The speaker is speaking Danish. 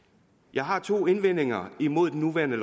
jeg har to indvendinger imod det nuværende